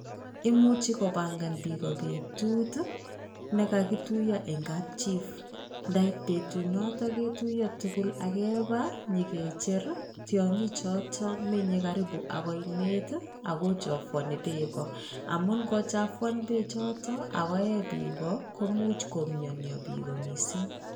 Imuchi kobangan biik ko betut nekakituyo en kapjii ndait betut noton ketuyo tukul ak kebaa nyokicher tyokik choton menyee karibu ak oinet tii ak kochafuani beek amun ikochafuana beek choton akoe biik komuch komionyoo biik komissing.